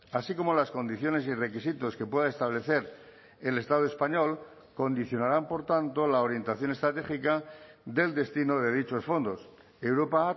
así como las condiciones y requisitos que pueda establecer el estado español condicionarán por tanto la orientación estratégica del destino de dichos fondos europa ha